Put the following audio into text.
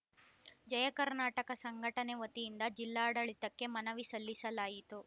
ಜಯಕರ್ನಾಟಕ ಸಂಘಟನೆ ವತಿಯಿಂದ ಜಿಲ್ಲಾಡಳಿತಕ್ಕೆ ಮನವಿ ಸಲ್ಲಿಸಲಾಯಿತು